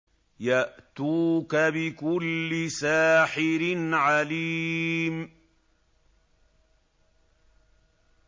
يَأْتُوكَ بِكُلِّ سَاحِرٍ عَلِيمٍ